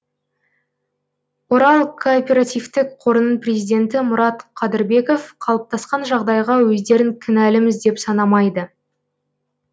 орал корпоративтік қорының президенті мұрат қадырбеков қалыптасқан жағдайға өздерін кінәліміз деп санамайды